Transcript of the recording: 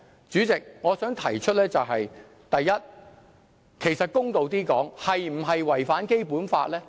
主席，我想提出的是，第一，公道一點來說，這是否違反《基本法》呢？